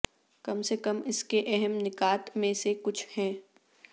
کم سے کم اس کے اہم نکات میں سے کچھ ہیں